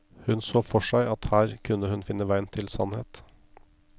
Hun så for seg at her kunne hun finne veien til sannhet.